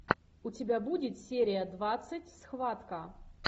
у тебя будет серия двадцать схватка